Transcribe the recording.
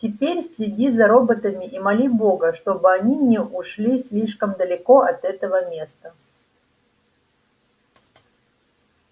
теперь следи за роботами и моли бога чтобы они не ушли слишком далеко от этого места